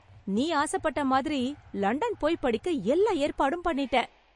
நீ ஆச பட்டா மாதிரி லண்டன் போயி படிக்க எல்லா ஏற்பாடும் பண்ணிட்டேன்.